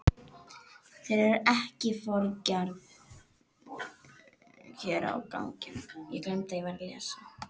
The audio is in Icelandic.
Þeir eru ekki foringjar hér á ganginum.